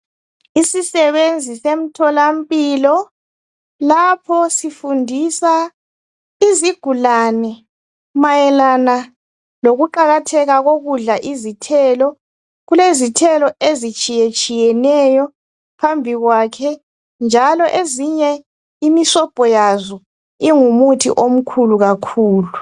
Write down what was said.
Isisebenzi semtholampilo lapho sifundisa izigulane mayelana lokuqakatheka kokudla izithelo kulezithelo ezitshiye tshiyeneyo phambi kwakhe njalo ezinye imisobho yazo ingumuthi omkhulu kakhulu.